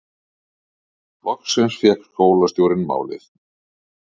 Loksins fékk skólastjórinn málið